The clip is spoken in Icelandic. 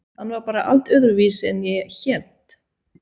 Hann var bara allt öðruvísi en ég hélt.